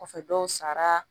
Kɔfɛ dɔw sara